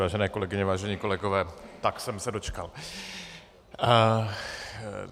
Vážené kolegyně, vážení kolegové, tak jsem se dočkal.